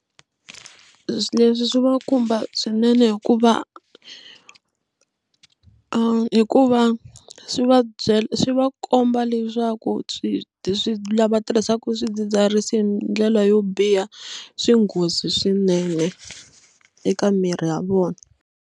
Leswi swi va khumba swinene hikuva hikuva swi va byela swi va komba leswaku swi swi lava tirhisaka swidzidziharisi hi ndlela yo biha swi nghozi swinene eka miri ya vona.